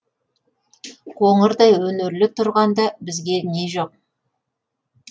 қоңырдай өнерлі тұрғанда бізге не жоқ